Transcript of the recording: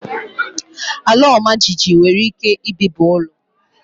Ala ọmajiji nwere ike ibibi ụlọ